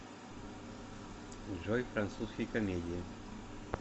джой французские комедии